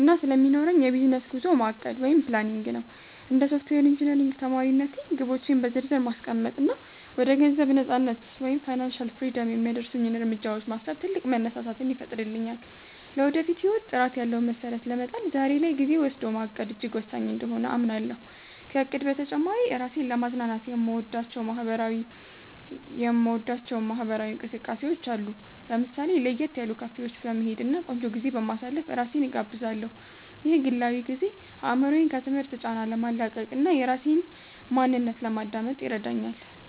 እና ስለሚኖረኝ የቢዝነስ ጉዞ ማቀድ (Planning) ነው። እንደ ሶፍትዌር ኢንጂነሪንግ ተማሪነቴ፣ ግቦቼን በዝርዝር ማስቀመጥ እና ወደ ገንዘብ ነፃነት (Financial Freedom) የሚያደርሱኝን እርምጃዎች ማሰብ ትልቅ መነሳሳትን ይፈጥርልኛል። ለወደፊት ህይወት ጥራት ያለው መሰረት ለመጣል ዛሬ ላይ ጊዜ ወስዶ ማቀድ እጅግ ወሳኝ እንደሆነ አምናለሁ። ከእቅድ በተጨማሪ፣ ራሴን ለማዝናናት የምወዳቸው ማህበራዊ እንቅስቃሴዎች አሉ። ለምሳሌ፣ ለየት ያሉ ካፌዎች በመሄድ እና ቆንጆ ጊዜ በማሳለፍ ራሴን እጋብዛለሁ። ይህ ግላዊ ጊዜ አእምሮዬን ከትምህርት ጫና ለማላቀቅ እና የራሴን ማንነት ለማዳመጥ ይረዳኛል